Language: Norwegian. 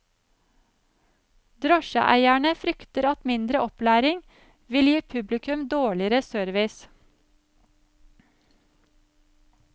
Drosjeeierne frykter at mindre opplæring vil gi publikum dårligere service.